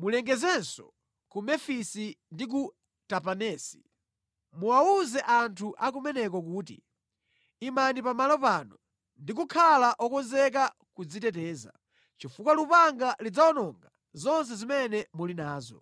Mulengezenso ku Mefisi ndi ku Tapanesi. Muwawuze anthu akumeneko kuti, ‘Imani pamalo panu ndi kukhala okonzeka kudziteteza, chifukwa lupanga lidzawononga zonse zimene muli nazo.’